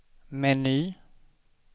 meny